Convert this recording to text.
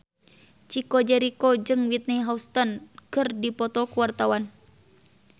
Chico Jericho jeung Whitney Houston keur dipoto ku wartawan